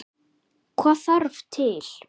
Hvað þarf til?